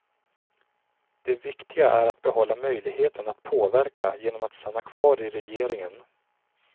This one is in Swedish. Det viktiga är att behålla möjligheten att påverka genom att stanna kvar i regeringen.